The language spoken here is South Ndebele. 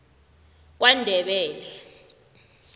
kwandebele